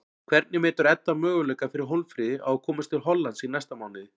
Hvernig metur Edda möguleika fyrir Hólmfríði á að komast til Hollands í næsta mánuði?